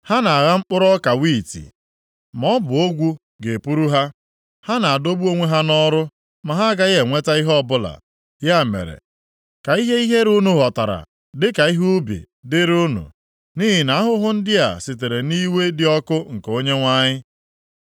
Ha ga-agha mkpụrụ ọka wiiti, maọbụ ogwu ga-epuru ha. Ha ga-adọgbu onwe ha nʼọrụ ma ha agaghị enweta ihe ọbụla. Ya mere, ka ihe ihere unu ghọtara dịka ihe ubi dịrị unu, nʼihi na ahụhụ ndị a sitere nʼiwe dị ọkụ nke Onyenwe anyị.”